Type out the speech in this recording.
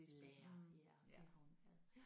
Lærer ja det har hun været